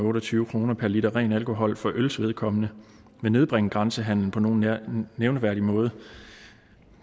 syv kroner per liter ren alkohol for øls vedkommende vil nedbringe grænsehandelen på nogen nævneværdig måde